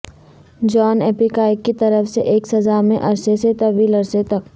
جان اپیکائیک کی طرف سے ایک سزا میں عرصے سے طویل عرصے تک